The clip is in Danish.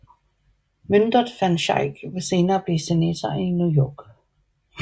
Myndert van Schaick ville senere blive senator af New York